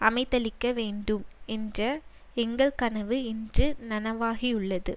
அமைத்தளிக்க வேண்டும் என்ற எங்கள் கனவு இன்று நனவாகியுள்ளது